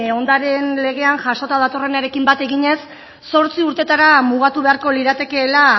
ondareen legean jasota datorrenarekin bat eginez zortzi urteetara mugatu beharko liratekeela